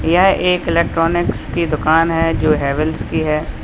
यह एक इलेक्ट्रॉनिक्स की दुकान है जो हैवेल्स की है।